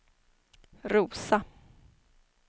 Rosa